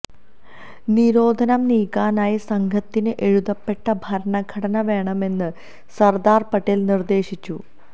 നിരോധനം നീക്കാനായി സംഘത്തിന് എഴുതപ്പെട്ട ഭരണഘടന വേണമെന്ന് സര്ദാര് പട്ടേല് നിര്ദ്ദേശിച്ചു